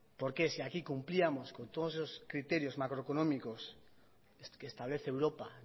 por qué si aquí cumplíamos con todos eso criterios macroeconómicos que establece europa